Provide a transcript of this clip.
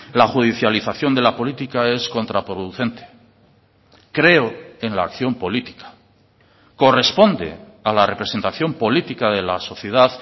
la judicialización de la política es contraproducente creo en la acción política corresponde a la representación política de la sociedad